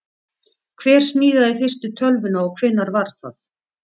Hver smíðaði fyrstu tölvuna og hvenær var það?